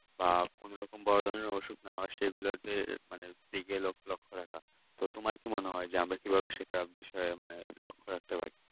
আর কোনরকম বড়ো ধরণের অসুখ যেন সেগুলোতে মানে দিকে লক্ষ্য রাখতে হবে তো তোমার কি মনে হয় যে আমরা কিভাবে সেটা বিষয়ে লক্ষ্য রাখতে পারি